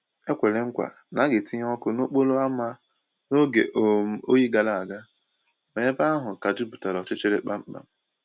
E kwèrè mkwa na a ga‑etinye ọkụ n’ókporo ámá n’oge um oyi gara aga, ma ebe ahụ ka jupụtara ọchịchịrị kpamkpam